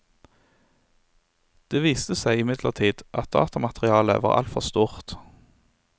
Det viste seg imidlertid at datamaterialet var altfor stort.